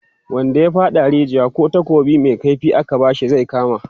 wanda ya faɗa a rijiya, kih takobi Mai kaifi aka bashi zai kama